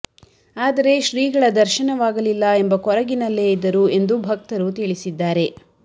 ಆದರೆ ಶ್ರೀಗಳ ದರ್ಶನವಾಗಲಿಲ್ಲ ಎಂಬ ಕೊರಗಿನಲ್ಲೇ ಇದ್ದರು ಎಂದು ಭಕ್ತರು ತಿಳಿಸಿದ್ದಾರೆ